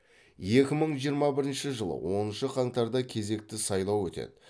екі мың жиырма бірінші жылы оныншы қаңтарда кезекті сайлау өтеді